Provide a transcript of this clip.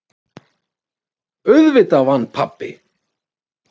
Auðvitað vann pabbi!